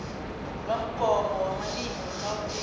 lomgomo wamalimi wegauteng